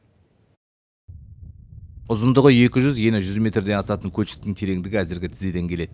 ұзындығы екі жүз ені жүз метрден асатын көлшіктің тереңдігі әзірге тізеден келеді